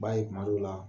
B'a ye kuma dɔw la